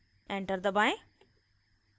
enter दबाएं